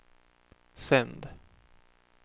sänd